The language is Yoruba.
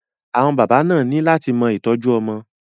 Àwọn bàbá náà ni lát mọ ìtọ́jú ọmọ.